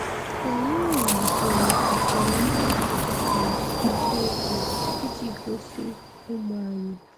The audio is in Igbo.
Anyị wulitere usoro mmefu na mkpata ego iji gosị ụmụ anyị.